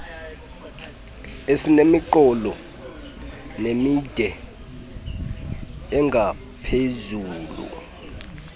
esinemiqolo emide nengaphezulu